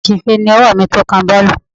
Àṣìṣe ni ọwọ́ mi tí ó kan boolu.